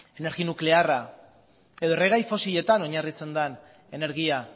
energia nuklearra edo erregai fosiletan oinarritzen den energia